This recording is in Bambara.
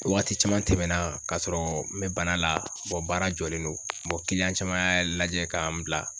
Waati caman tɛmɛna kasɔrɔ n bɛ bana la baara jɔlen don caman y'a lajɛ ka n bila.